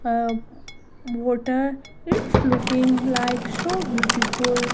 a water its looking like so beautiful.